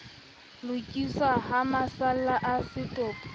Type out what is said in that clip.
lokiswa ha masalla a setopo